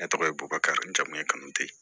Ne tɔgɔ ye bobakakari jamu ye kanute